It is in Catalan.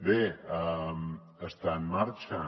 bé està en marxa